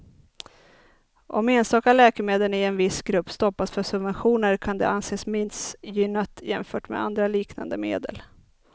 Om enstaka läkemedel i en viss grupp stoppas för subventioner kan det anses missgynnat jämfört med andra liknande medel.